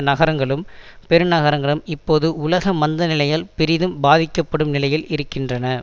நகரங்களும் பெருநகரங்களும் இப்போது உலக மந்த நிலையால் பெரிதும் பாதிக்கப்படும் நிலையில் இருக்கின்றன